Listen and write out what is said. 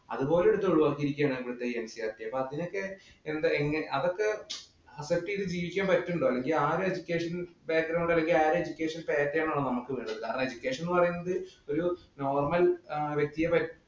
അതുപോലും എടുത്ത് ഒഴിവക്കിയേക്കുവാണ് നമ്മുടെ ഈ NCERT അപ്പൊ അതിനൊക്ക എന്താ അതൊക്കെ adjust ചെയ്ത് ജീവിക്കാന്‍ പറ്റുന്നുണ്ടോ? അല്ലെങ്കില്‍ ആ ഒരു educational background അല്ലെങ്കില്‍ ആ ഒര education pattern ആണോ നമ്മക്ക്. വേണ്ടത്. കാരണം education എന്ന് പറയുന്നത് ഒരു normal വ്യക്തിയെ പറ്റി